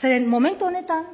zeren momentu honetan